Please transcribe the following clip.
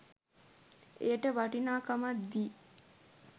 එයට වටිනාකමක් දී